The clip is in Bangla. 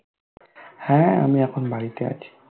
হ্যাঁ আমি এখন বাড়িতে আছি